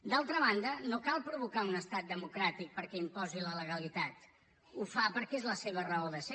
d’altra banda no cal provocar un estat democràtic perquè imposi la legalitat ho fa perquè és la seva raó de ser